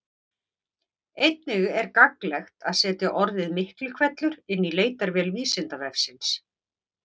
Einnig er gagnlegt að setja orðið Miklihvellur inn í leitarvél Vísindavefsins.